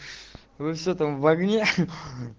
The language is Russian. высота в огне